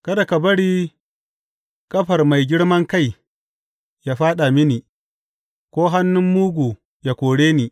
Kada ka bari ƙafar mai girman kai yă fāɗa mini, ko hannun mugu ya kore ni.